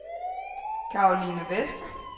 Karoline Vester